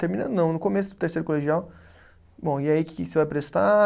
Terminando, não, no começo do terceiro colegial, bom, e aí, que que você vai prestar?